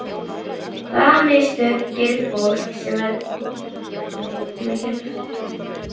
Hvaða mistök gerir fólk sem verður fyrir því að slasast?